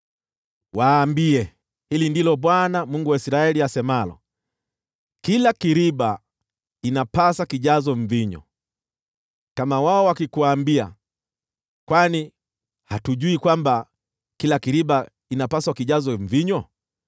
“Waambie: ‘Hili ndilo Bwana , Mungu wa Israeli, asemalo: kila kiriba inapasa kijazwe mvinyo.’ Kama wao wakikuambia, ‘Kwani hatujui kwamba kila kiriba inapasa kijazwe mvinyo?’